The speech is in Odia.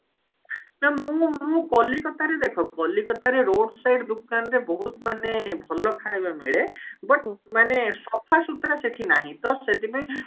ନା ମୁଁ ମୁଁ କଲିକତାରେ ଦେଖ କଲିକତାରେ road side ଦୋକାନରେ ବହୁତ ମାନେ ଭଲ ଖାଇବା ମିଳେ but ମାନେ ସଫାସୁତୁରା ସେଠି ନାହିଁ ତ ସେଠି ପାଇଁ